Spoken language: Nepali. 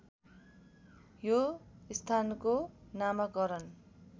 यो स्थानको नामाकरण